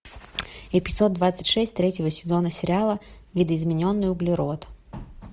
эпизод двадцать шесть третьего сезона сериала видоизмененный углерод